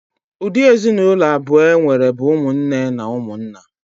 Ụdị ezinụlọ abụọ enwere bụ ụmụnne na ụmụnna.